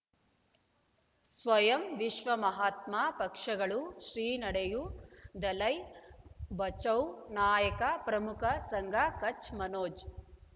ಸ್ವಯಂ ವಿಶ್ವ ಮಹಾತ್ಮ ಪಕ್ಷಗಳು ಶ್ರೀ ನಡೆಯೂ ದಲೈ ಬಚೌ ನಾಯಕ ಪ್ರಮುಖ ಸಂಘ ಕಚ್ ಮನೋಜ್